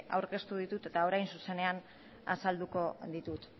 aurkeztu ditut eta orain zuzenean azalduko ditut